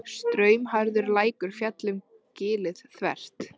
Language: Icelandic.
Straumharður lækur féll um gilið þvert.